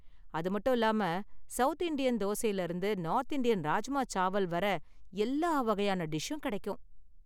அது மட்டும் இல்லாம, சவுத் இந்தியன் தோசையில இருந்து நார்த் இந்தியன் ராஜ்மா சாவல் வரை எல்லா வகையான டிஷ்ஷும் கிடைக்கும்.